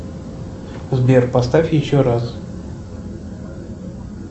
сбер поставь еще раз